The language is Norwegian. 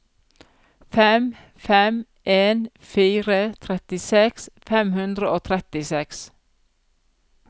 fem fem en fire trettiseks fem hundre og trettiseks